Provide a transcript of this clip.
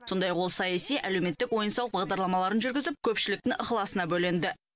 сондай ақ ол саяси әлеуметтік ойын сауық бағдарламаларын жүргізіп көпшіліктің ықыласына бөленді